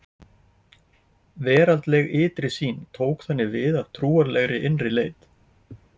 Veraldleg ytri sýn tók þannig við af trúarlegri innri leit.